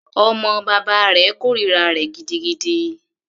Ọmọ bàbá rẹ̀ kòrira rẹ̀ gidigidi.